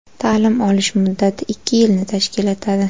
Ta’lim olish muddati ikki yilni tashkil etadi.